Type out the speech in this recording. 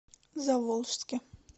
заволжске